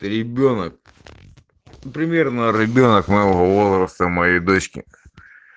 ребёнок примерно ребёнок моего возраста моей дочки